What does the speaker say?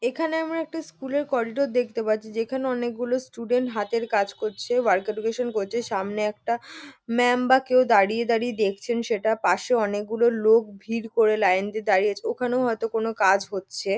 এখানে আমরা একটা স্কুল -এর করিডোর দেখতে পাচ্ছি যেখানে অনেকগুলো স্টুডেন্ট হাতের কাজ করছে ওয়ার্ক এডুকেশন করছে। সামনে একটা ম্যাম বা কেউ দাঁড়িয়ে দাঁড়িয়ে দেখছেন সেটা। পাশে অনেকগুলো লোক ভিড় করে লাইন দিয়ে দাঁড়িয়ে আছে। ওখানেও হয়তো কোন কাজ হচ্ছে।